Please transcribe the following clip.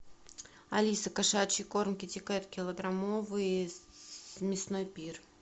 алиса кошачий корм китикет килограммовый мясной пир